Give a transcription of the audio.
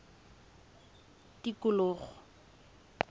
tikologo